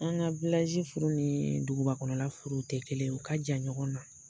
An ka furu ni duguba kɔnɔna la furuw tɛ kelen ye, u ka jan ɲɔgɔnna.